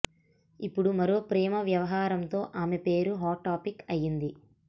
ఇప్పుడు మరో ప్రేమ వ్యవహారంతో ఆమె పేరు హాట్ టాపిక్ అయ్యింది